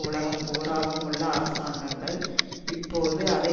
உலகம் பூராவும் உள்ள அரசாங்கங்கள் இப்போது அதை